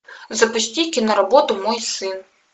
запусти киноработу мой сын